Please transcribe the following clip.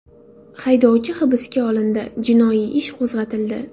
Haydovchi hibsga olindi, jinoiy ish qo‘zg‘atildi.